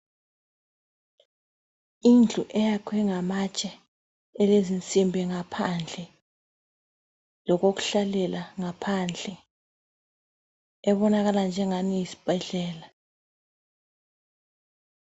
Indlu eyakhwe ngamatshe elezinsimbi ngaphandle, lokokuhlalela ngaphandle ebonakala njengani yisibhedlela.